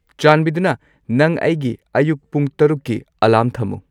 ꯆꯥꯟꯕꯤꯗꯨꯅ ꯅꯪ ꯑꯩꯒꯤ ꯑꯌꯨꯛ ꯄꯨꯡ ꯇꯔꯨꯛꯀꯤ ꯑꯦꯂꯥꯔꯝ ꯊꯝꯃꯨ